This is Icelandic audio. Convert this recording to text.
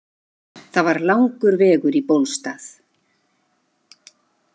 Það var langur vegur í Bólstað.